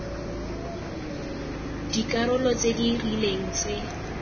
dikarolo tse di rileng tse